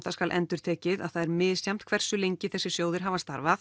það skal endurtekið að það er misjafnt hversu lengi þessir sjóðir hafa starfað